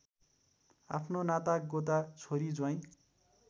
आफ्ना नातागोता छोरी ज्वाइँ